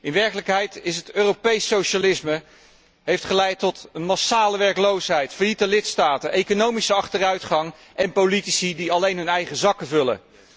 In werkelijkheid heeft het Europees socialisme geleid tot massale werkloosheid, failliete lidstaten, economische achteruitgang en politici die alleen hun eigen zakken vullen.